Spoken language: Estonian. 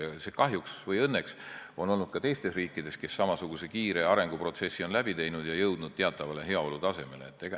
Seda on kahjuks või õnneks olnud ka teistes riikides, kes samasuguse kiire arenguprotsessi on läbi teinud ja jõudnud teatavale heaolutasemele.